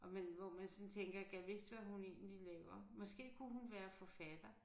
Og man hvor man sådan tænker gad vist hvad hun egentlig laver. Måske kunne hun være forfatter